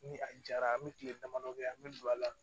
Ni a jara an bɛ kile damadɔ kɛ an bɛ don a la